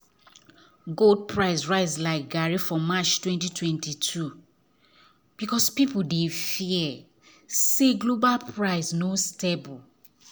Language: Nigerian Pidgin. gold price rise like garri for march 2022 because people dey fear say global economy no stable